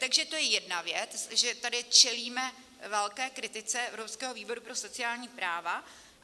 Takže to je jedna věc, že tady čelíme velké kritice Evropského výboru pro sociální práva.